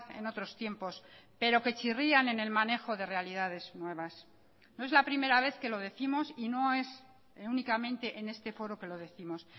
en otros tiempos pero que chirrían en el manejo de realidades nuevas no es la primera vez que lo décimos y no es únicamente en este foro que lo décimos